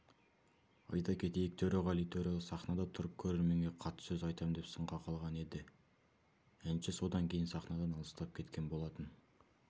айта кетейік төреғали төреәлі сахнада тұрып көрерменге қатты сөз айтам деп сынға қалған еді әнші содан кейін сахнадан алыстап кеткен болатын